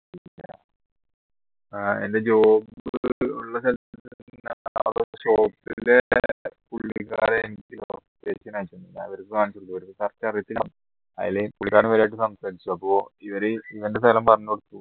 ആഹ് ഇവനെ ഇവൻറെ സ്ഥലം പറഞ്ഞുകൊടുത്തു